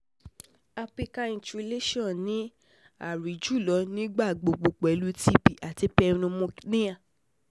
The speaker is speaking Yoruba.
Apical infiltration ni a rii julọ nigbagbogbo pẹlu cs] TB ati pneumonia